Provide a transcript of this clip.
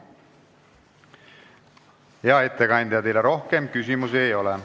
Hea ettekandja, teile rohkem küsimusi ei ole.